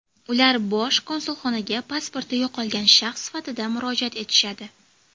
Ular Bosh konsulxonaga pasporti yo‘qolgan shaxs sifatida murojaat etishadi.